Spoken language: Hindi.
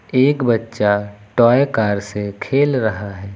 एक बच्चा टॉय कार से खेल रहा है।